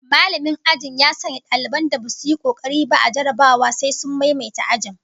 Mallamin ajin ya sanya daliban da basu yi kokari ba a jarrabawa sai sun maimaita ajin